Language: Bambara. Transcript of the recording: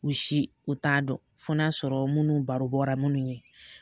U si u t'a dɔn fo n'a sɔrɔ munnu baro bɔra munnu ye.